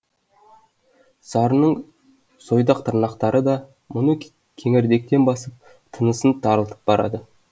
сарының сойдақ тырнақтары да мұны кеңірдектен басып тынысын тарылтып барады